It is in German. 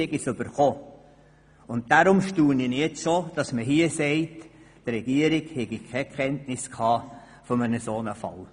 Deshalb staune ich nun, wenn man in dieser Antwort schreibt, die Regierung habe keine Kenntnis von einem solchen Fall.